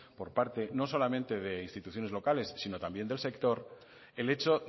por parte no solamente de instituciones locales sino también del sector el hecho